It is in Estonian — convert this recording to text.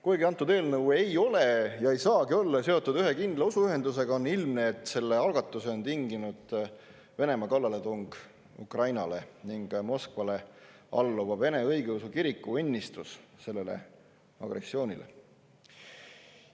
Kuigi antud eelnõu ei ole ja ei saagi olla seotud ühe kindla usuühendusega, on ilmne, et selle algatuse on tinginud Venemaa kallaletung Ukrainale ning Moskvale alluva Vene Õigeusu Kiriku õnnistus sellele agressioonile.